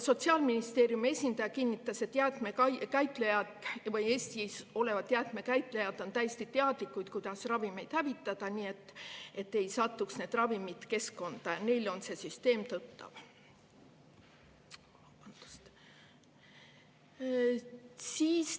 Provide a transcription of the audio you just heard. Sotsiaalministeeriumi esindaja kinnitas, et Eestis jäätmekäitlejad on täiesti teadlikud, kuidas ravimeid hävitada nii, et need ravimid ei satuks keskkonda, neile on see süsteem tuttav.